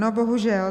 No bohužel.